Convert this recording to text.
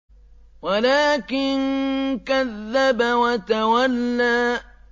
وَلَٰكِن كَذَّبَ وَتَوَلَّىٰ